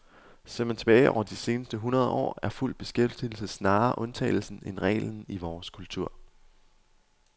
Ser man tilbage over de seneste hundrede år, er fuld beskæftigelse snarere undtagelsen end regelen i vores kultur.